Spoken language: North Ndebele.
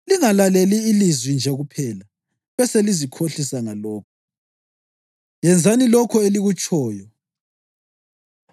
Lingalaleli ilizwi nje kuphela, beselizikhohlisa ngalokho. Yenzani lokho elikutshoyo.